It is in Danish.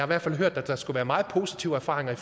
hvert fald hørt at der skulle være meget positive erfaringer